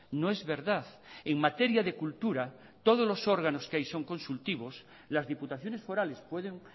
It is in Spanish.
no es verdad en materia de cultura todos los órganos que hay son consultivos las diputaciones forales pueden